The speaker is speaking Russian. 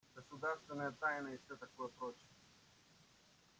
государственная тайна и всё такое прочее